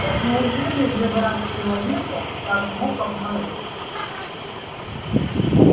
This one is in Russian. так неужели же враг человека так мог обмануть